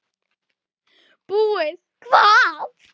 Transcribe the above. Búið hvað!